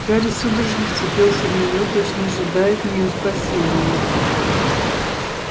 гарри судорожно вцепился в неё точно ожидая от неё спасения